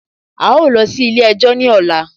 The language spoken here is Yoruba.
A ó lọ sí ilé ẹjọ́ ní ọ̀la